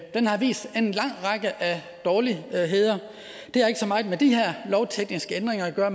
har vist en lang række af dårligdomme det har ikke så meget med de her lovtekniske ændringer at gøre